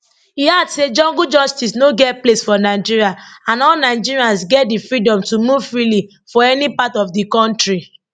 e add say jungle justice no get place for nigeria and all nigerians get di freedom to move freely for any part of di kontri